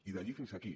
i d’allí fins aquí